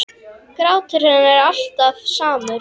Grátur hennar er alltaf samur.